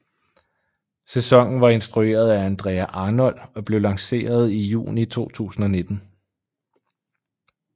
Sæsonen var instrueret af Andrea Arnold og blev lanceret i juni 2019